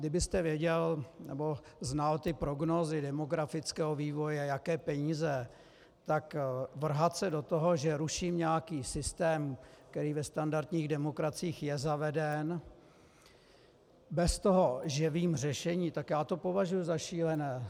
Kdybyste věděl nebo znal ty prognózy demografického vývoje, jaké peníze, tak vrhat se do toho, že ruším nějakým systém, který ve standardních demokraciích je zaveden, bez toho, že vím řešení, tak já to považuji za šílené.